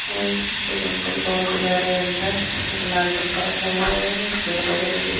और एक अंकल दौड़के के जा रहे हैं अंदर एक लाल डिब्बा रखा हुआ है पेड़ पौधे लगे--